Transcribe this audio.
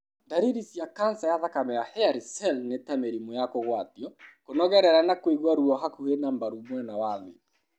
Ndariri cia kanca ya thakame ya hairy cell nĩ ta mĩrimũ ya kũgwatio, kũnogerera na kũigua ruo hakuhĩ na mbaru mwena wa thĩ.